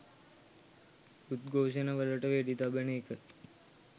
උද්ඝෝෂණවලට වෙඩි තබන එක